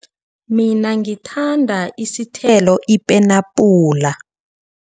Mina ngithanda isithelo ipenabhula.